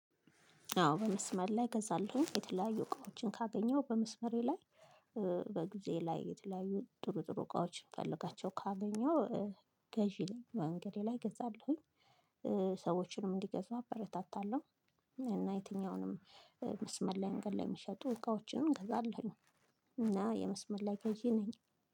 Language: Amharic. አዎ በመስመር ላይ እገዛለሁኝ የተለያዩ እቃዎችን ካገኘሁ በመስመሬ ላይ በጊዜ ላይ የተለያዩ ጥሩ ጥሩ እቃዎችን እምፈልጋቸውን ካገኘው። ገዢ ነኝ መንገዴ ላይ እገዛለሁኝ። እንዲገዛ አበረታታለሁ እና የትኛውንም መስመር ላይ መንገድ ላይ የሚሸጡ እቃዎችንም እገዛለሁኝ። እና የመስመር ላይ ገዢ ነኝ።